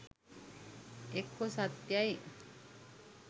එක්කෝ සත්‍යයි